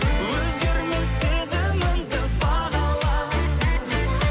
өзгермес сезімімді бағала